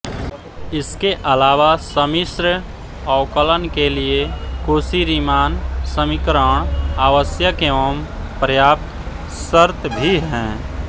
इसके अलावा समिश्र अवकलन के लिये कोशीरीमान समीकरण आवश्यक एवं पर्याप्त शर्त भी हैं